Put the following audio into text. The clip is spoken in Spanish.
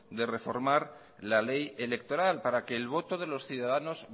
de reformar la ley electoral para que el voto de los ciudadanos